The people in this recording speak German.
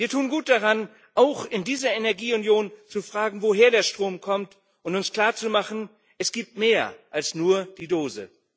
Wir tun gut daran, auch in dieser Energieunion zu fragen, woher der Strom kommt, und uns klarzumachen Es gibt mehr als nur die Dose.